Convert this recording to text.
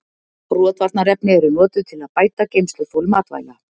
Rotvarnarefni eru notuð til að bæta geymsluþol matvæla.